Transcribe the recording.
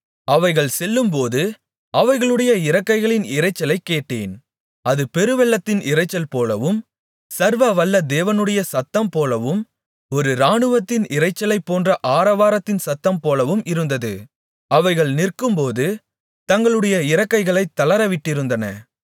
அவைகள் செல்லும்போது அவைகளுடைய இறக்கைகளின் இரைச்சலைக் கேட்டேன் அது பெருவெள்ளத்தின் இரைச்சல் போலவும் சர்வ வல்ல தேவனுடைய சத்தம் போலவும் ஒரு இராணுவத்தின் இரைச்சலைப் போன்ற ஆரவாரத்தின் சத்தம் போலவும் இருந்தது அவைகள் நிற்கும்போது தங்களுடைய இறக்கைகளைத் தளரவிட்டிருந்தன